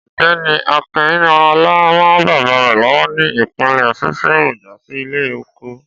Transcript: Ọ̀gbẹ́ni Akinọlá rán bàbá rè lọ́wọ́ ní ìpele fífi èròjà sí ilé oko